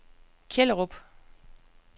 Kjellerup